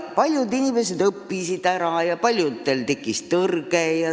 Paljud inimesed õppisid selle ära ja paljudel tekkis tõrge.